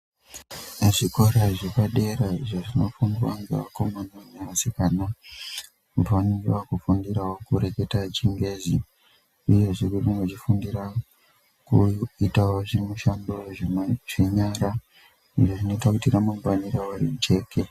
Muzvikora zvepadera izvo zvinofundiwa ngevakomana nevasikana vanenge vakufundirawo kureketawo chingezi uyezve vanenge vachikufundira kuitawo zvimushando zvenyara izvo zvinoita kuti ramangwani avo rijeke.